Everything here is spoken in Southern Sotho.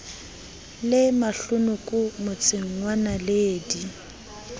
le mahlonoko motseng wa naledi